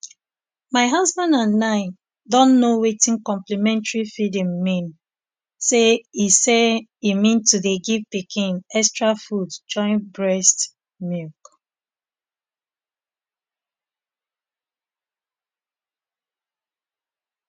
my husband and i don know wetin complementary feeding mean say e say e mean to dey give pikin extra food join breast um milk